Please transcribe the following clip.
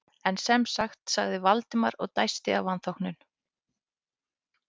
En sem sagt- sagði Valdimar og dæsti af vanþóknun.